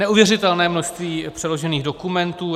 Neuvěřitelné množství přeložených dokumentů.